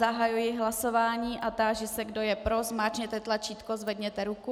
Zahajuji hlasování a táži se, kdo je pro, zmáčkněte tlačítko, zvedněte ruku.